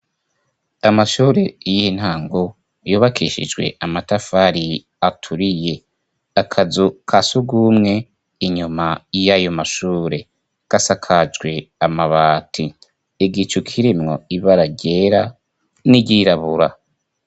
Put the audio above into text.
Amashure y'iintango, yubakeshijwe amatafari aturiye. Akazu ka sugwumwe inyuma y'ayo mashure, gasakajwe amabati. Igicu kiremwo ibara ryera n'iryirabura.